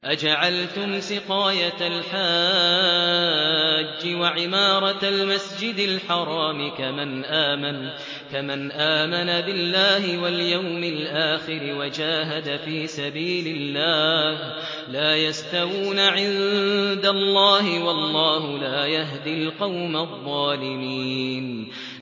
۞ أَجَعَلْتُمْ سِقَايَةَ الْحَاجِّ وَعِمَارَةَ الْمَسْجِدِ الْحَرَامِ كَمَنْ آمَنَ بِاللَّهِ وَالْيَوْمِ الْآخِرِ وَجَاهَدَ فِي سَبِيلِ اللَّهِ ۚ لَا يَسْتَوُونَ عِندَ اللَّهِ ۗ وَاللَّهُ لَا يَهْدِي الْقَوْمَ الظَّالِمِينَ